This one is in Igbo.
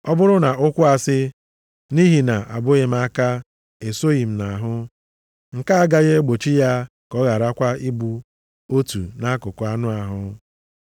Ọ bụrụ na ụkwụ asị, “Nʼihi na-abụghị m aka, esoghị nʼahụ,” nke a agaghị egbochi ya ka ọ gharakwa ịbụ otu nʼakụkụ anụ ahụ.